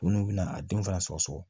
Minnu bɛna a denw fana sɔgɔ sɔgɔ